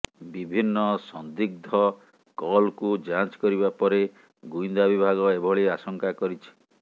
ବିଭିନ୍ନ ସଦିଗ୍ଧ କଲକୁ ଯାଞ୍ଚ କରିବା ପରେ ଗୁଇନ୍ଦା ବିଭାଗ ଏଭଳି ଆଶଙ୍କା କରିଛି